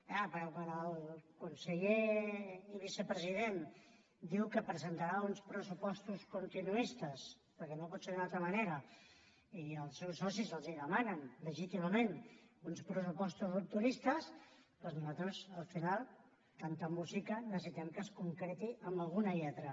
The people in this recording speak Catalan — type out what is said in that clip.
és clar perquè quan el conseller i vicepresident diu que presentarà uns pressupostos continuistes perquè no pot ser d’una altra manera i els seus socis els demanen legítimament uns pressupostos rupturistes doncs nosaltres al final tanta música necessitem que es concreti amb alguna lletra